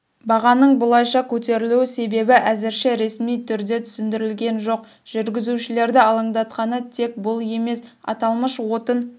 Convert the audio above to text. бағаның бұлайша көтерілу себебі әзірше ресми түрде түсіндірілген жоқ жүргізушілерді алаңдатқаны тек бұл емес аталмыш отын